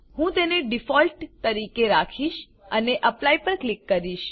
હું તેને ડિફોલ્ટ તરીકે રાખીશ અને એપ્લાય પર ક્લિક કરીશ